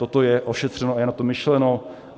Toto je ošetřeno a je na to myšleno.